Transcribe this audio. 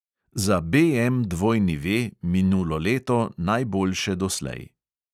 Za BMW V minulo leto najboljše doslej.